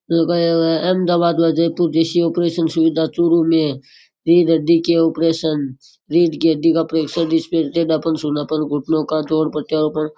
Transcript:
लगाया हुआ है अहमदाबाद व जयपुर जैसी ऑपरेशन सुविधा चुरु में रीड हड्डी के ऑपरेशंस रीड की हड्डी का ऑपरेशन जिसमें टेढ़ापन सूनापन घुटनों का दौर प्रत्यारोपण --